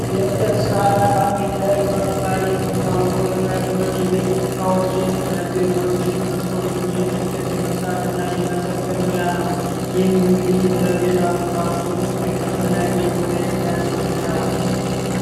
የእንጨት ስራና ካርፔንተሪ በመባል የሚታወቀው የሙያ ስራ የቤት ውስጥ እቃዎችን የቢሮ እቃዎችን፣ መስኮቶችን፣ የመስራትና የመጠገን ሙያ ነው። ለመንግስት እና ለቤታዊ ቁሳቁሶች ተፈላጊ የሆነ የሙያ ትምህርት ነው።